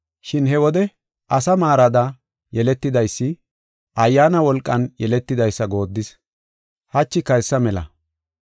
Shin he wode asa maarada yeletidaysi, Ayyaana wolqan yeletidaysa goodis. Hachika hessa mela.